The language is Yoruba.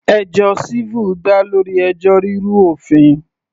Ẹjọ́ civil dá lórí ẹjọ́ rírú òfin.